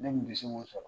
Ne kun bɛ se k'o sɔrɔ